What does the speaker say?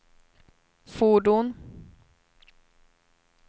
fordon